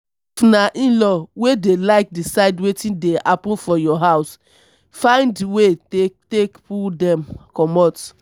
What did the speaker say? if na inlaw wey de like decide wetin dey happen for your house find wey take take pull dem comot